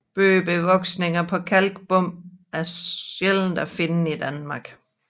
Bøgebevoksninger på kalkbund er sjældent at finde i Danmark